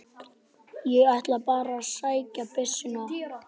Ég ætlaði bara að sækja byssuna og.